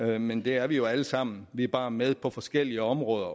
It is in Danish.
det men vi er det jo alle sammen vi er bare med på forskellige områder